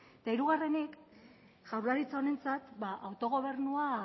eta hirugarrenik jaurlaritza honentzat autogobernua